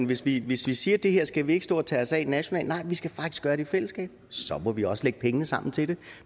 hvis vi hvis vi siger at det her skal vi ikke stå og tage os af nationalt nej vi skal faktisk gøre det i fællesskab så må vi også lægge pengene sammen til det